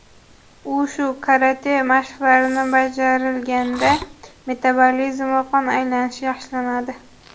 Ushu, karate mashqlari bajarilganda metabolizm va qon aylanishi yaxshilanadi.